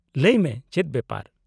-ᱞᱟᱹᱭ ᱢᱮ , ᱪᱮᱫ ᱵᱮᱯᱟᱨ ?